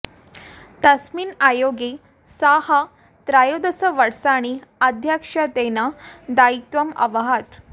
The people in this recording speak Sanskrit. तस्मिन् आयोगे सः त्रयोदश वर्षाणि अध्यक्षत्वेन दायित्वम् अवहत्